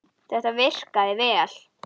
Þetta virkaði vel.